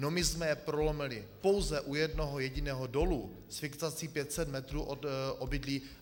No my jsme je prolomili pouze u jednoho jediného dolu s fixací 500 metrů od obydlí.